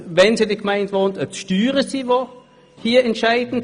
Wenn sie in der Gemeinde wohnen: Waren die Steuern dafür entscheidend?